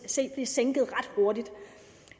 se blive sænket ret hurtigt